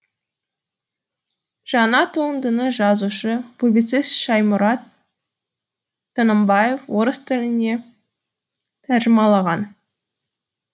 жаңа туындыны жазушы публицист шаймұрат тынымбаев орыс тіліне тәржімалаған